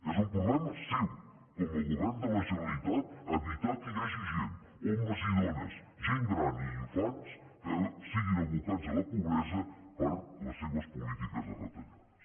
és un problema seu com a govern de la generalitat evitar que hi hagi gent homes i dones gent gran i infants que siguin abocats a la pobresa per les seves polítiques de retallades